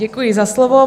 Děkuji za slovo.